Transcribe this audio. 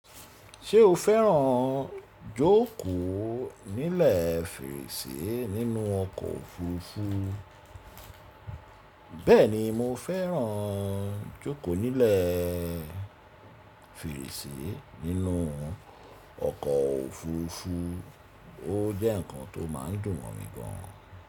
Ṣé o fẹ́ràn jókòó nílẹ̀ fèrèsé nínú ọkọ̀ òfuurufú? Bẹ́ẹ̀ni, mo fẹ́ràn jókòó nílẹ̀ fèrèsé nínú ọkọ̀ òfuurufú, ó jẹ́ ǹkan tó má a ń dùn mọ́n mi gan.